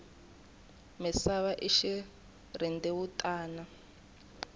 misava i xirhendewutani